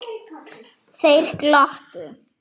Þeir glottu.